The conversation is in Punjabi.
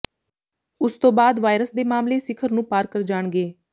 ਉਸ ਤੋਂ ਬਾਅਦ ਵਾਇਰਸ ਦੇ ਮਾਮਲੇ ਸਿਖਰ ਨੂੰ ਪਾਰ ਕਰ ਜਾਣਗੇ